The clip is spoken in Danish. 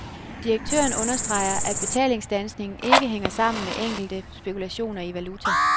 Direktøren understreger, at betalingsstandsningen ikke hænger sammen med enkelte spekulationer i valuta.